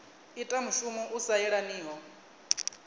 ita mushumo u sa yelaniho